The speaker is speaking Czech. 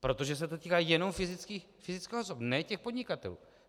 Protože se to týká jenom fyzických osob, ne těch podnikatelů.